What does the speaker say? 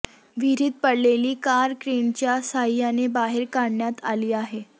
विहिरीत पडलेली कार क्रेनच्या साह्याने बाहेर काढण्यात आली आहे